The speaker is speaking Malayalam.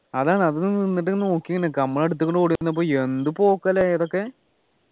അതാണ് അത് നിന്നിട്ട് നോക്കി ങ്ങനെ നിക്കാ നമ്മുടെ അടുത്തേകുടെ ഓടി വന്നപ്പോ എന്ത് പോക്കാ ല്ലേ അതൊക്കെ